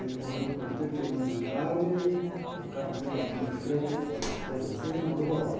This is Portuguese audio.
Ele morreu com oitenta e um anos de idade, o carro dele bateu de frente com a coisa assim, ele morreu na hora.